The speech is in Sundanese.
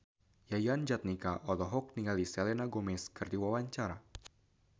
Yayan Jatnika olohok ningali Selena Gomez keur diwawancara